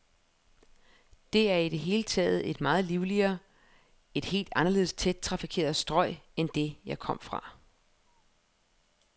Det er i det hele taget et meget livligere, et helt anderledes tæt trafikeret strøg end det, jeg kom fra.